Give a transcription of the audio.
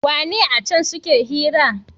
wune acen suke hira?